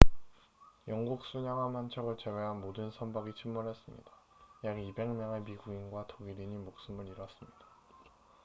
영국 순양함 한 척을 제외한 모든 선박이 침몰했습니다 약 200명의 미국인과 독일인이 목숨을 잃었습니다